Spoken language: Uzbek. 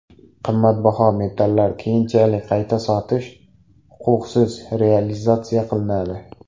Qimmatbaho metallar keyinchalik qayta sotish huquqisiz realizatsiya qilinadi.